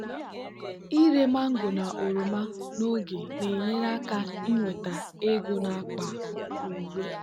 ịre mango na oroma n'oge na-enyere aka inweta ego n'akpa uwe.